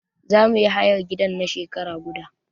Za mu yi hayar gidan na shekara guda.